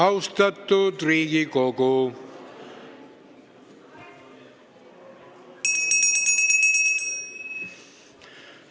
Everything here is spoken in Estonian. Austatud Riigikogu!